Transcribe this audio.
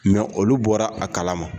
olu bɔra a kalama.